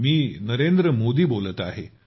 मी नरेंद्र मोदी बोलत आहे